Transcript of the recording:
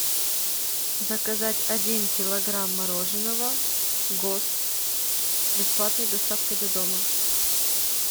заказать один килограмм мороженого гост с бесплатной доставкой до дома